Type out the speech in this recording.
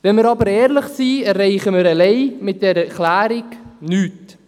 Wenn wir aber ehrlich sind, erreichen wir mit dieser Erklärung allein nichts.